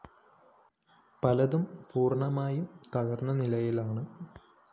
പലതും പൂര്‍ണ്ണമായും തകര്‍ന്ന നിലയിലാണ്